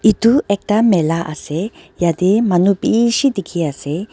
etu ekta mela ase yate manu bishi dikhi ase.